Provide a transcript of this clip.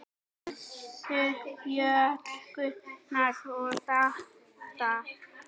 Elsku hjón, Gunnar og Dalla.